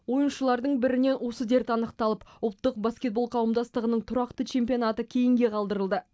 ойыншылардың бірінен осы дерт анықталып ұлттық баскетбол қауымдастығының тұрақты чемпионаты кейінге қалдырылды